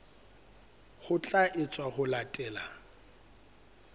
ho tla etswa ho latela